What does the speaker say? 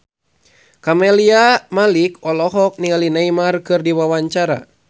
Camelia Malik olohok ningali Neymar keur diwawancara